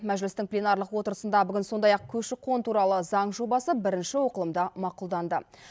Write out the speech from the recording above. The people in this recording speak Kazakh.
мәжілістің пленарлық отырысында сондай ақ көші қон туралы заң жобасы бірінші оқылымда мақұлданды